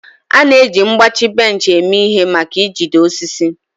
A na-eji mgbachi bench eme ihe maka ijide osisi.